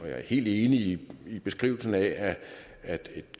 er helt enig i beskrivelsen af at et